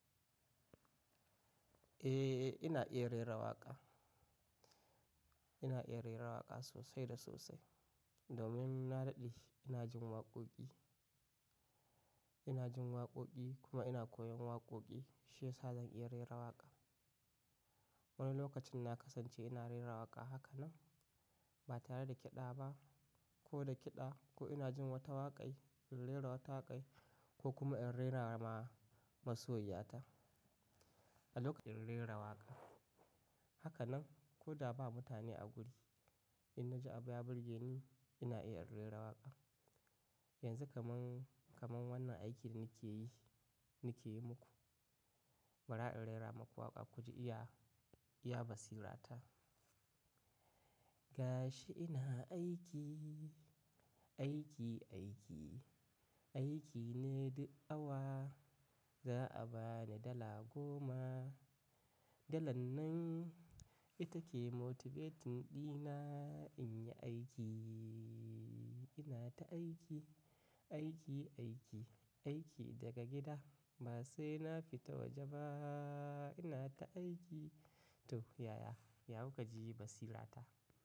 Eh, ina iya rera waƙa. Ina iya rera waƙa sosai da sosai. Domin na daɗe ina jin waƙoƙi, ina jin waƙoƙi kuma ina koyon waƙoƙi, shiyasa zan iya rera waƙa. Wani lokacin na kasance ina rera waƙa haka nan ba tare da kiɗa ba, ko da kiɗa, ko ina jin wata waƙan, in rera wata waƙa ko kuma in rera ma masoyiya ta. A lokacin rera waƙa haka nan, ko da ba mutane a guri, in na ji abu ya burge ni, ina iya in rera waƙa. Yanzu kamar, kamar wannan aikin da nike yi, nike yi muku, bara in rera maku waƙa ku ji iya, iya basirata. Ga shi ina aiki, aiki, aiki. Aiki ne duk awa za'a bani dala goma. Dalar nan ita ke motivating ɗina in yi aiki. Ina ta aiki, aiki, aiki, aiki daga gida ba sai na fita waje ba. Ina ta aiki. To, yaya? Ya kuka ji basirata?